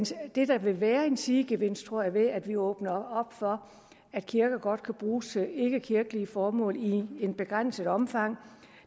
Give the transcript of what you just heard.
det der vil være en sidegevinst tror jeg ved at vi åbner op for at kirker godt kan bruges til ikkekirkelige formål i et begrænset omfang